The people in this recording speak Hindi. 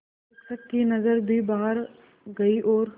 शिक्षक की नज़र भी बाहर गई और